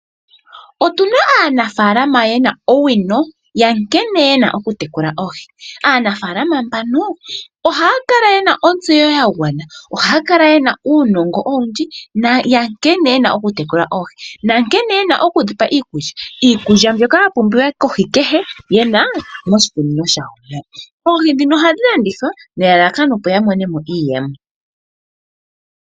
Otuna aanafalama yena owino yankene yena okutekula oohi, aanafalama mbano ohaya kala yena ontseyo ya gwana. Ohaya kala yena uunongo owundji nkene yena okutekula oohi nankene yena oku dhipa iikulya, iikulya mbyoka ya pumbiwa kohi kehe yena moshikunino shawo. Oohi ndhino ohadhi landithwa nelalakano, opo ya monemo iiyemo.